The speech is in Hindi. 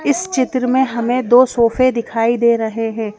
इस चित्र में हमें दो सोफे दिखाई दे रहें हैं।